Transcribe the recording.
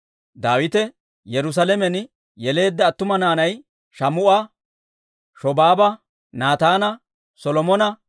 Daawite Yerusaalamen yeleedda attuma naanay Shaamu'a, Shobaaba, Naataana, Solomone,